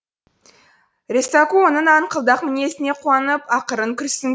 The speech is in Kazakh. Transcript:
ресаку оның аңқылдақ мінезіне қуанып ақырын күрсін